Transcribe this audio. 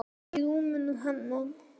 Í rúminu hennar.